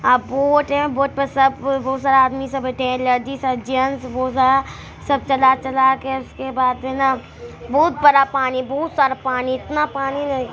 अ boat है boat पर बहुत सारा आदमी सब ते लेडीज सब है जेंट्स है सब चला-चला के इसके बाद है ना बहुत बड़ा पानी बहुत सारा पानी इतना पानी है |